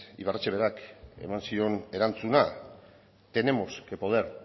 ibarretxe berak eman zion erantzuna tenemos que poder